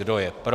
Kdo je pro?